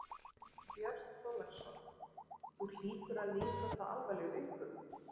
Björn Þorláksson: Þú hlýtur að líta það alvarlegum augum?